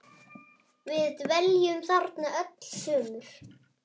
Við dveljum þarna öll sumur.